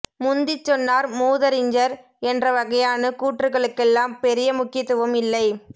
முந்திச் சொன்னார் மூதறிஞர் என்றவகையான கூற்றுகளுக்கெல்லாம் பெரிய முக்கியத்துவம் இல்லை